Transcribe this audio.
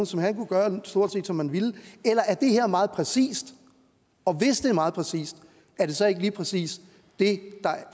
så han kunne gøre stort set som han ville eller er det her meget præcist og hvis det er meget præcist er det så ikke lige præcis det der